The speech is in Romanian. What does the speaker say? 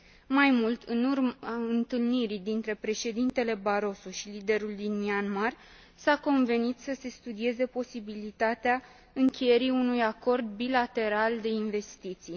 Mai mult, în urma întâlnirii dintre președintele Barosso și liderul din Myanmar, s a convenit să se studieze posibilitatea încheierii unui acord bilateral de investiții.